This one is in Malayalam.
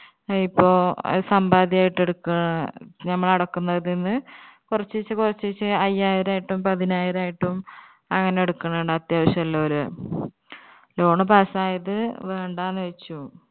ഏർ ഇപ്പൊ അത് സമ്പാദ്യമായിട്ട് എടുക്കാ ഞമ്മള് അടക്കുന്നതിന്ന് കൊറചിച്ചെ കൊറചിച്ചെ അയ്യായിരായിട്ടും പതിനായിരായിട്ടും അങ്ങനെ എടുക്കുണിണ്ട് അത്യാവശ്യുള്ളോർ loan pass ആയത് വേണ്ടാന്ന് വെച്ചു